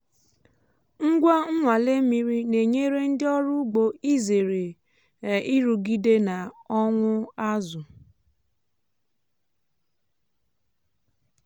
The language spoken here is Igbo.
ngwa inwale mmiri na-enyere ndị ọrụ ugbo izere um nrụgide na ọnwụ azụ.